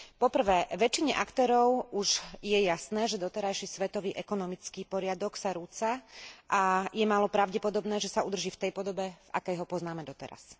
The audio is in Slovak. Po prvé väčšine aktérov už je jasné, že doterajší svetový ekonomický poriadok sa rúca a je málo pravdepodobné, že sa udrží v tej podobe, v akej ho poznáme doteraz.